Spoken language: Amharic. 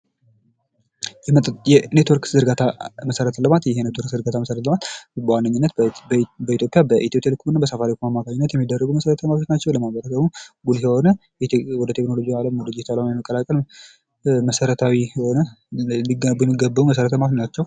የኔትወርክ ዝርጋታ መሰረተ ልማት፦ ይሄ የኔትወርክ ዝርጋታ መሰረተ ልማት በዋነኝነት በኢትዮጵያ በኢትዮ ቴሌኮምና በሳፋሪኮም የሚደረጉ መሰረታዊ ልማቶች ናቸው። ለማህበረሰቡ ጉልህ የሆነ ወደ ቴክኖሎጂው ዓለም ለመቀላቀል መሰረታዊ የሆነ ሊገነቡ የሚገባው መሰረተ ልማት ናቸው።